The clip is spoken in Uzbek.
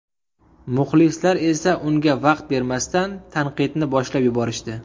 Muxlislar esa unga vaqt bermasdan, tanqidni boshlab yuborishdi.